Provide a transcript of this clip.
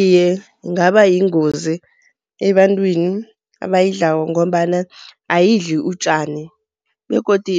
Iye, ingaba yingozi ebantwini abayidlako ngombana ayidli utjani. Begodu